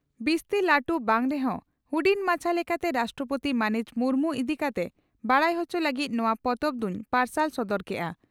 "ᱼᱵᱤᱥᱛᱤ ᱞᱟᱹᱴᱩ ᱵᱟᱝ ᱨᱮᱦᱚᱸ ᱦᱩᱰᱤᱧ ᱢᱟᱪᱷᱟ ᱞᱮᱠᱟᱛᱮ ᱨᱟᱥᱴᱨᱚᱯᱳᱛᱤ ᱢᱟᱹᱱᱤᱡ ᱢᱩᱨᱢᱩ ᱤᱫᱤ ᱠᱟᱛᱮ ᱵᱟᱰᱟᱭ ᱚᱪᱚ ᱞᱟᱹᱜᱤᱫ ᱱᱚᱣᱟ ᱯᱚᱛᱚᱵ ᱫᱩᱧ ᱯᱟᱨᱥᱟᱞ ᱥᱚᱫᱚᱨ ᱠᱮᱜᱼᱟ ᱾